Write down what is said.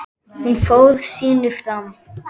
Hún fór sínu fram.